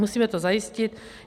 Musíme to zajistit.